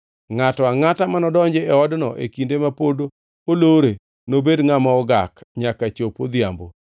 “Ngʼato angʼata manodonji e odno e kinde ma pod olore nobed ngʼama ogak nyaka chop odhiambo.